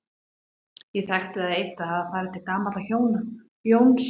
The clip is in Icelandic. Ég þekkti það eitt að hafa farið til gamalla hjóna, Jóns